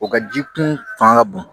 O ka ji kun fanga ka bon